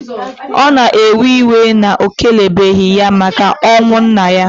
O na ewe iwe na o kelebeghi ya maka onwu nna ya.